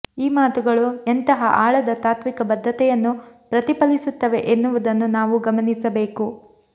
ಈ ಮಾತುಗಳು ಎಂತಹ ಆಳದ ತಾತ್ವಿಕ ಬದ್ಧತೆಯನ್ನು ಪ್ರತಿಫಲಿಸುತ್ತವೆ ಎನ್ನುವುದನ್ನು ನಾವು ಗಮನಿಸಬೇಕು